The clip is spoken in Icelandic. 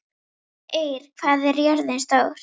Eir, hvað er jörðin stór?